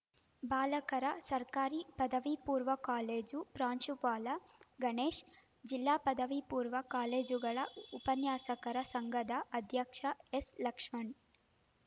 ಬಾಲಕರ ಸರ್ಕಾರಿ ಪದವಿಪೂರ್ವ ಕಾಲೇಜು ಪ್ರಾಂಶುಪಾಲ ಗಣೇಶ್‌ ಜಿಲ್ಲಾ ಪದವಿಪೂರ್ವ ಕಾಲೇಜುಗಳ ಉಪನ್ಯಾಸಕರ ಸಂಘದ ಅಧ್ಯಕ್ಷ ಎಸ್‌ಲಕ್ಷ್ಮಣ್‌